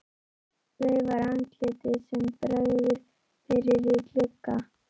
Veifar andliti sem bregður fyrir í glugga.